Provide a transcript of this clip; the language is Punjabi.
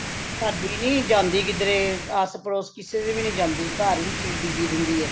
ਸਾਡੀ ਨਹੀਂ ਜਾਂਦੀ ਕਿਧਰੇ ਆਸ਼ ਪੜੋਸ ਕਿਸੇ ਦੇ ਵੀ ਨਹੀਂ ਜਾਂਦੀ ਘਰ ਵਿੱਚ ਹੀ busy ਰਹਿੰਦੀ ਏ